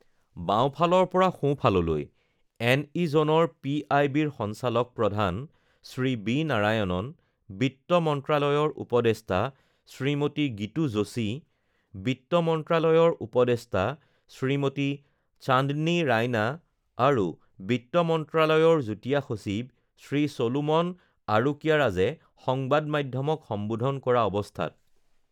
বাওঁফালৰ পৰা সোঁফাললৈঃ এন ই জোনৰ পিআইবিৰ সঞ্চালক প্ৰধান শ্ৰী বি নাৰায়ণন, বিত্ত মন্ত্ৰালয়ৰ উপদেষ্টা শ্ৰীমতী গীতু যোশী, বিত্ত মন্ত্ৰালয়ৰ উপদেষ্টা শ্ৰীমতী চান্দনী ৰাইনা আৰু বিত্ত মন্ত্ৰালয়ৰ যুটীয়া সচিব শ্ৰী চলোমন আৰোকিয়াৰাজে সংবাদ মাধ্যমক সম্বোধন কৰা অৱস্থাত